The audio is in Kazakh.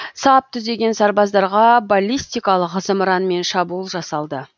сап түзеген сарбаздарға баллистикалық зымыранмен шабуыл жасалды